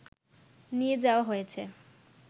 নিয়ে যাওয়া হয়েছে